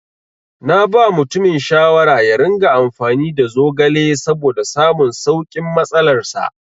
Naba mutumin shawara yaringa amfani da zogale saboda samun saukin matsalar sa.